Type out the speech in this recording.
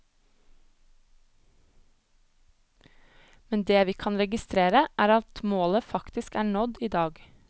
Men det vi kan registrere, er at målet faktisk er nådd i dag.